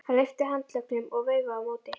Hann lyfti handleggnum og veifaði á móti.